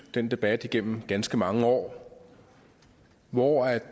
den debat igennem ganske mange år hvor